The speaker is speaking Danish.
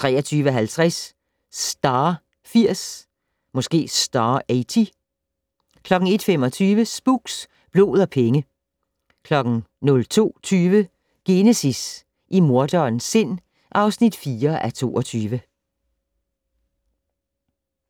23:50: Star 80 01:25: Spooks: Blod og penge 02:20: Genesis - i morderens sind (4:22)